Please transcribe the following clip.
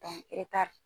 e ta